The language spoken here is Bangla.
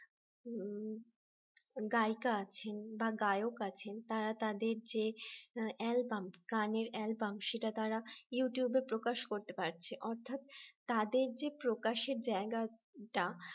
গায়িকা আছে বা গায়ক আছেন তারা তাদের যে অ্যালবাম গানের অ্যালবাম সেটা তারা ইউটিউব এ প্রকাশ করতে পারছে অর্থাৎ তাদের যে প্রকাশের জায়গাটা